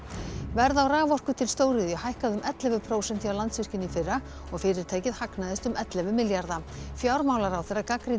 verð á raforku til stóriðju hækkaði um ellefu prósent hjá Landsvirkjun í fyrra og fyrirtækið hagnaðist um ellefu milljarða fjármálaráðherra gagnrýndi